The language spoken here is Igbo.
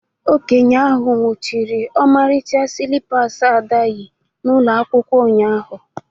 Okenye ahụ nwụchiri ọmarịcha slippers Ada yi n'ụlọ akwụkwọ ụnyahụ